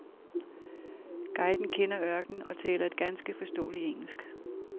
Guiden kender ørkenen og taler et ganske forståeligt engelsk.